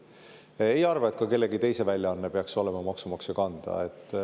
Samuti ei arva ma, et ka kellegi teise väljaanne peaks olema maksumaksja kanda.